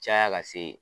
Caya ka se